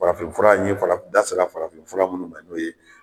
Farafinfura ye n da sera farafinfura minnu ma n'o ye.